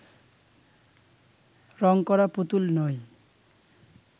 রং করা পুতুল নই